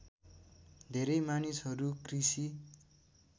धेरै मानिसहरू कृषि